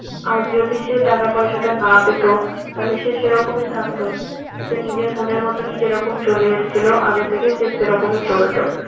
আর যদি সে টাকা-পয়সা টা না পেত তাহলে সে সেরকমই থাকতো সে নিজের মনের মতনই যেরকম চলে এসেছিল আগে থেকে সে সেরকমই চলত